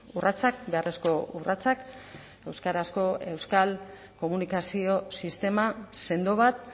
urratsak beharrezko urratsak euskarazko euskal komunikazio sistema sendo bat